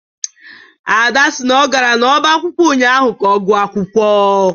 Ada sị na ọ gara n'ọba akwụkwọ ụnyahụ ka ọ gụọ akwụkwọ